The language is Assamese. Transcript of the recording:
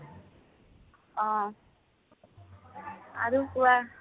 অ, আৰু কোৱা